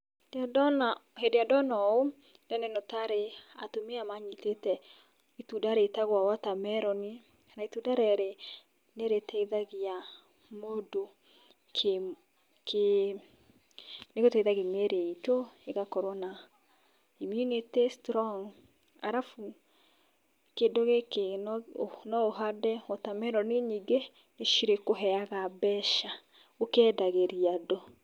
Hĩndĩ ĩrĩa ndona ũũ, ndĩrona ĩno tarĩ atumia manyitĩte itunda rĩtagwo water melon, na itunda rĩrĩ nĩ rĩteithagia mũndũ kĩ kĩ nĩ rĩteithagia mĩrĩ itũ ĩgakorwo na immunity strong, arabu kĩndũ gĩkĩ no ũhande water melon nyingĩ, nĩ cirĩkũheaga mbeca ũkendagĩria andũ.